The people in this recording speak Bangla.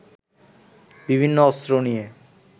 বিভিন্ন অস্ত্র নিয়ে